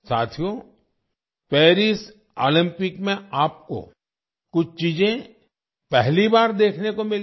साथियो Paris Olympic में आपको कुछ चीजें पहली बार देखने को मिलेंगी